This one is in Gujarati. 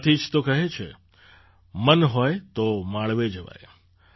આથી જ તો કહે છે મન હોય તો માળવે જવાય